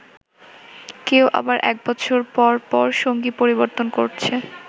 কেউ আবার এক বছর পর পর সঙ্গী পরিবর্তন করছে।